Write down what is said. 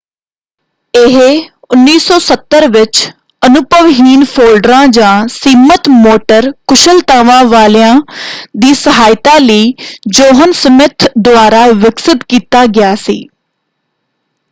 ਇਹ 1970 ਵਿੱਚ ਅਨੁਭਵਹੀਨ ਫੋਲਡਰਾਂ ਜਾਂ ਸੀਮਤ ਮੋਟਰ ਕੁਸ਼ਲਤਾਵਾਂ ਵਾਲਿਆ ਦੀ ਸਹਾਇਤਾ ਲਈ ਜੌਹਨ ਸਮਿੱਥ ਦੁਆਰਾ ਵਿਕਸਿਤ ਕੀਤਾ ਗਿਆ ਸੀ।